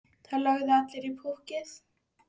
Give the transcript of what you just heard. Það lögðu allir í púkkið.